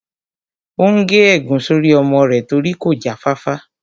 Ó n gé ègún sórí ọmọ rẹ̀ torí kò já fáfá